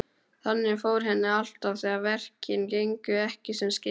Þannig fór henni alltaf þegar verkin gengu ekki sem skyldi.